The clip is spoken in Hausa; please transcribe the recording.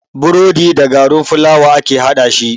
Burodi da garin fulawa ake haɗashi.